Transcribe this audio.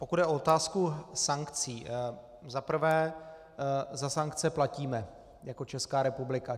Pokud jde o otázku sankcí, za prvé za sankce platíme jako Česká republika.